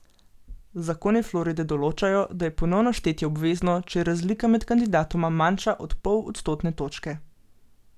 Zakoni Floride določajo, da je ponovno štetje obvezno, če je razlika med kandidatoma manjša od pol odstotne točke.